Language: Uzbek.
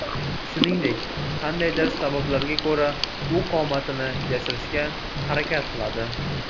Shuningdek, qandaydir sabablarga ko‘ra u qomatini yashirishga harakat qiladi.